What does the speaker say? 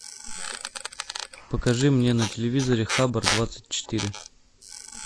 покажи мне на телевизоре хабор двадцать четыре